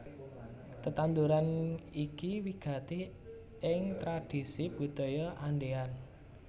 Tetanduran iki wigati ing tradhisi Budaya Andean